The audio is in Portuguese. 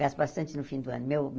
Gasto bastante no fim do ano. Meu